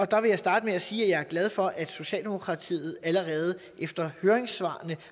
der vil jeg starte med at sige at jeg er glad for at socialdemokratiet allerede efter høringssvarene